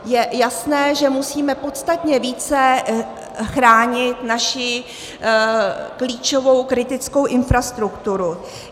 Je jasné, že musíme podstatně více chránit naši klíčovou kritickou infrastrukturu.